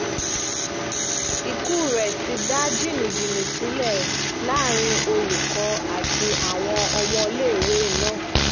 ikú rẹ̀ ti dá jìnnìjìnnì sílẹ̀ láàrin olùkọ́ àti àwọn ọmọléèwé náà